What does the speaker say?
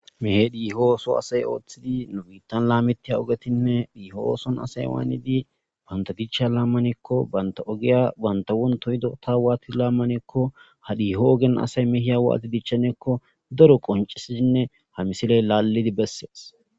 Mehedihoo so asay ooththidi nu biiththan laameththiya ogethinne he ooson asay waanidi banththa dichchaa laammaneekko banththa ogiya banththa wonthth hidoothaa waathi laammaneeko hadiyeho gin asay waathidi dichchaneeko daro qonccissizinne ha misilee laallidi besses.